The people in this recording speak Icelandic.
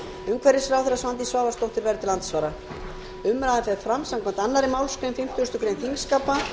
umhverfisráðherra svandís svavarsdóttir verður til andsvara umræðan fer fram samkvæmt annarri málsgrein fimmtugustu grein þingskapa